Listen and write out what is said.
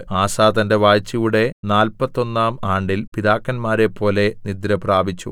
ആസാ തന്റെ വാഴ്ചയുടെ നാൽപ്പത്തൊന്നാം ആണ്ടിൽ പിതാക്കന്മാരെപ്പോലെ നിദ്രപ്രാപിച്ചു